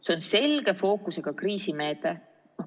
See on selge fookusega kriisimeede.